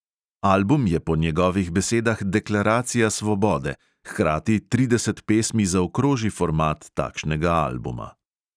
Album je po njegovih besedah deklaracija svobode, hkrati trideset pesmi zaokroži format takšnega albuma.